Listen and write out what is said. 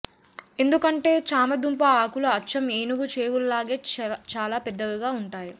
ఎందుకంటే చామదుంప ఆకులు అచ్చం ఏనుగు చెవుల్లాగే చాలా పెద్దవిగా ఉంటాయి